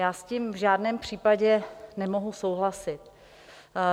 Já s tím v žádném případě nemohu souhlasit.